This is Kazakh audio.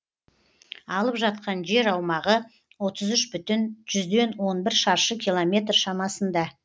алып жатқан жер аумағы оытз үш бүтін жүзден он бір шаршы километр шамасында